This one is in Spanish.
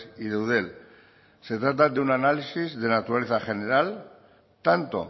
y de eudel se trata de un análisis de naturaleza general tanto